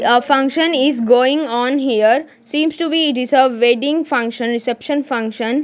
a function is going on here seems to be it is a wedding function reception function.